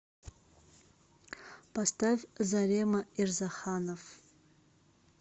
поставь зарема ирзаханов